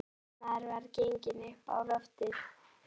Annar maður var genginn upp á loftið.